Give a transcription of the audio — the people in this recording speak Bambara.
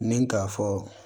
Ni k'a fɔ